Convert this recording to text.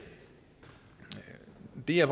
det jeg